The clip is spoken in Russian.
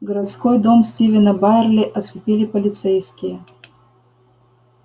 городской дом стивена байерли оцепили полицейские